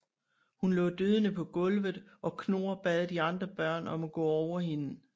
Hun lå døende på gulvet og Knorr bad de andre børn om at gå over hende